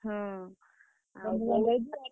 ହଁ